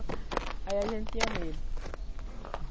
Aí a gente tinha medo.